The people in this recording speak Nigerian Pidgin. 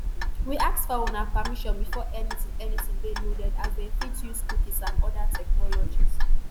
we ask for una permission before anytin anytin dey loaded as dem fit dey use cookies and oda technologies.